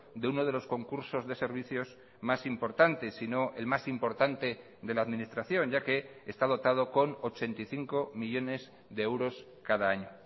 de uno de los concursos de servicios más importantes si no el más importante de la administración ya que está dotado con ochenta y cinco millónes de euros cada año